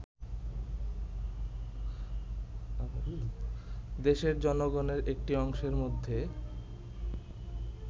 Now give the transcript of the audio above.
দেশের জনগণের একটি অংশের মধ্যে